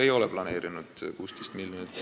Ei ole plaaninud!